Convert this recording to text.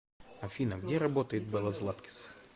афина где работает белла златкис